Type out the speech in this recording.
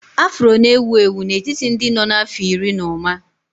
Afro na-ewu ewu n'etiti ndị nọ n'afọ iri na ụma